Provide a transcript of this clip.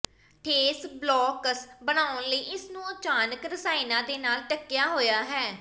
ਠੋਸ ਬਲੌਕਸ ਬਣਾਉਣ ਲਈ ਇਸ ਨੂੰ ਅਚਾਣਕ ਰਸਾਇਣਾਂ ਦੇ ਨਾਲ ਢੱਕਿਆ ਹੋਇਆ ਹੈ